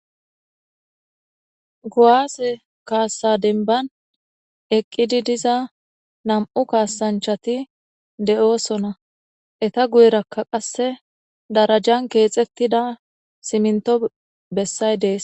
Kuwaase kaassa denban eqqidi diza nam7u kaasanchati de7oosona eta guyerakka qasse darajan keexettida siminto bessay dees